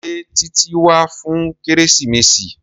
Ṣé Títí wá fún kérésìmesì?